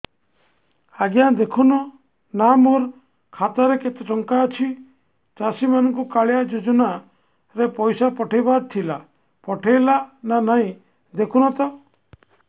ଆଜ୍ଞା ଦେଖୁନ ନା ମୋର ଖାତାରେ କେତେ ଟଙ୍କା ଅଛି ଚାଷୀ ମାନଙ୍କୁ କାଳିଆ ଯୁଜୁନା ରେ ପଇସା ପଠେଇବାର ଥିଲା ପଠେଇଲା ନା ନାଇଁ ଦେଖୁନ ତ